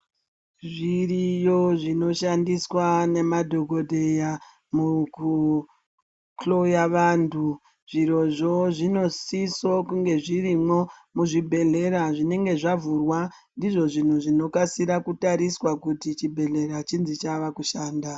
Zviriyo zvinoshandiswa nemadhokhodheya mukuhloya vantu zvirozvo zvinosisa kunge zvirimo muzvibhehleya zvinenge zvavhurwa ndizvo zviro zvinokasira kutariswa kuti chibhehleya chinzi chava kushanda.